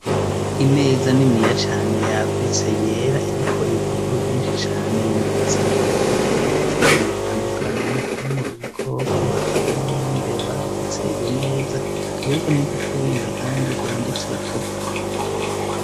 Imeza niniya cane, yagutse, yera, iriko ibipapuro vyinshi cane, bimaditseko; biriko ibishushanyo bitandukanye; harimwo ibikoko, hakabamwo n'imbeba, ndetse iyo meza, ikaba iriko n'ibipapuro, bindi kandi vyanditseko.